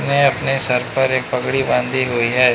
हैं अपने सर पर एक पगड़ी बांधी हुई है।